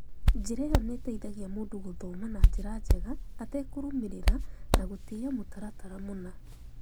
Njĩra ĩyo nĩ ĩteithagia mũndũ gũthoma na njĩra njega atekũrũmĩrĩra na gũtĩĩa mũtaratara mũna.